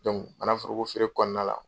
manan foroko feere kɔnɔna la